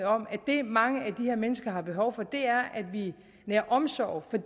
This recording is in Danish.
om at det mange af de her mennesker har behov for er at vi nærer omsorg for